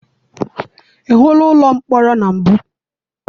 I hụla ụlọ mkpọrọ na mbụ?